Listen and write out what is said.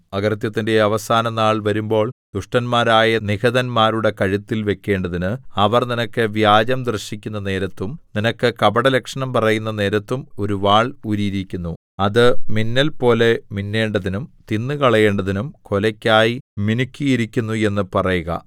അകൃത്യത്തിന്റെ അവസാനനാൾ വരുമ്പോൾ ദുഷ്ടന്മാരായ നിഹതന്മാരുടെ കഴുത്തിൽ വെക്കേണ്ടതിന് അവർ നിനക്ക് വ്യാജം ദർശിക്കുന്ന നേരത്തും നിനക്ക് കപടലക്ഷണം പറയുന്ന നേരത്തും ഒരു വാൾ ഒരു വാൾ ഊരിയിരിക്കുന്നു അത് മിന്നൽപോലെ മിന്നേണ്ടതിനും തിന്നുകളയേണ്ടതിനും കൊലയ്ക്കായി മിനുക്കിയിരിക്കുന്നു എന്ന് പറയുക